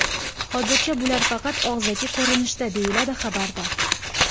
Hozircha bular faqat og‘zaki ko‘rinishda”, deyiladi xabarda.